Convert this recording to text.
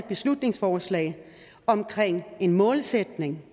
beslutningsforslag om en målsætning